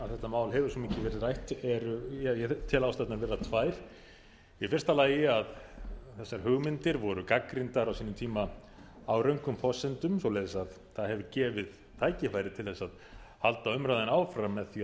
ég tel ástæðurnar vera tvær í fyrsta lagi að þessar hugmyndir voru gagnrýndar á sínum tíma á röngum forsendum svoleiðis að það hefur gefið tækifæri til þess að halda umræðunni áfram með því